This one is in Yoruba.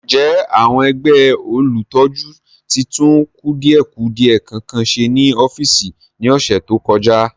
Ǹjẹ́ àwọn ẹgbẹ́ olùtọ́jú tí tún kùdìẹ̀kudie kankan ṣe ní ọ́fíìsì ní ọ̀sẹ̀ tó kọjá?